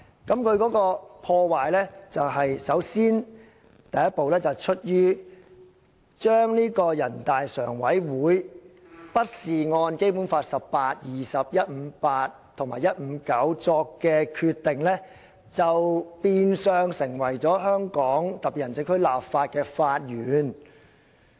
這種破壞首先見於，人大常委會並非根據《基本法》第十八、二十、一百五十八及一百五十九條而作的決定被採納作為為香港特別行政區立法的法源。